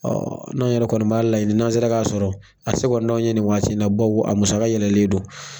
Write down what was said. Ɔ n'anw yɛrɛ kɔni b'a laɲini n'an sera k'a sɔrɔ a se kɔni t'anw ye nin waati in na bawu a musaka yɛlɛlen don